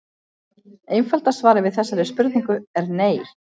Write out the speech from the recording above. Einfalda svarið við þessari spurningu er nei.